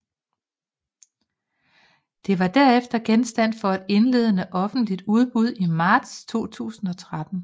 Det var derefter genstand for et indledende offentligt udbud i marts 2013